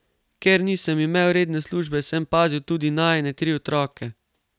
Ker nisem imel redne službe, sem pazil tudi najine tri otroke.